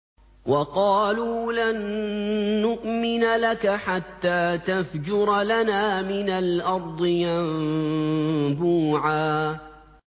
وَقَالُوا لَن نُّؤْمِنَ لَكَ حَتَّىٰ تَفْجُرَ لَنَا مِنَ الْأَرْضِ يَنبُوعًا